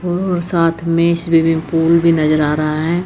और साथ में स्विमिंग पूल भी नजर आ रहा है।